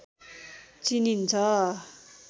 चिनिन्छ